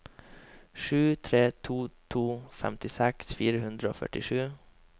sju tre to to femtiseks fire hundre og førtisju